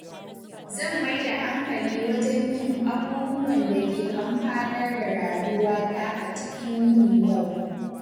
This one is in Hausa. Zan mai da hankali wajen yin abubuwan da ke amfanar da rayuwata a cikin yinin yau.